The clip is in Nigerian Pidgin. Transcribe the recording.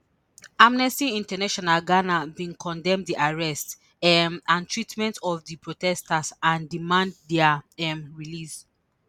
Amnesty International Ghana bin condemn di arrest um and treatment of di protesters and demand dia um release